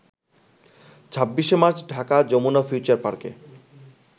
২৬ March ঢাকার Jamuna future পার্কে